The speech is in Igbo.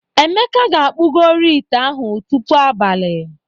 Emeka ga-akpụgori ite ahụ tupu abalị.